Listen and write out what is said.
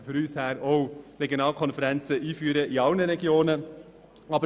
Unserer Ansicht nach könnte man die Regionalkonferenzen in allen Regionen einführen.